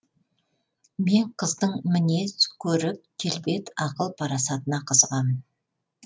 мен қыздың мінез көрік келбет ақыл парасатына қызығамын